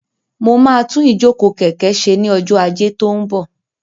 Mo máa tún ìjókòó kẹ̀kẹ́ ṣe ní ọjọ́ ajé tó ń bọ̀.